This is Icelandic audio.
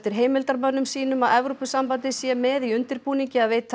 heimildarmönnum sínum að Evrópusambandið sé með í undirbúningi að veita